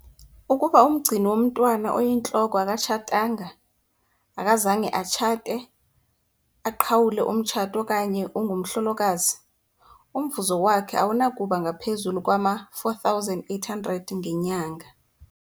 Ukuba umgcini womntwana oyintloko akatshatanga akazange atshate, aqhawule umtshato okanye ungumhlolokazi, umvuzo wakhe awunakuba ngaphezu kwama-R4 800 ngenyanga.